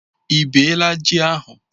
Ị bee la ji ahu?